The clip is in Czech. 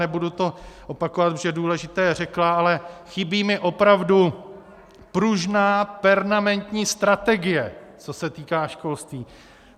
Nebudu to opakovat, protože důležité řekla, ale chybí mi opravdu pružná, permanentní strategie, co se týká školství.